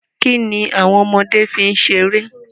Kíni àwon ọmọdé fi n seré?